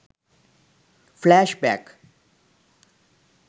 flashback